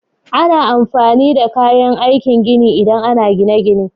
Ana amfani da kayan aikin gini idan ana yin gine-gine.